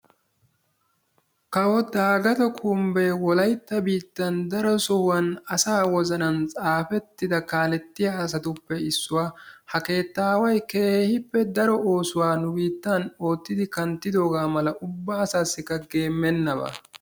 kawo daagatto kumbbee wollaytta biittaan daro sohuwan asaa wozanaan tsaafettida kaalettiyaa asatuppe issuwaa. ha keettaaway keehippe daro oosuwaa nu biittan oottidi kanttidoogaa mala ubba asaasikka geemmena ba.